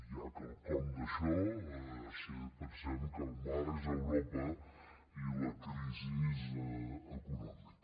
hi ha quelcom d’això si pensem que el mar és europa i la crisi econòmica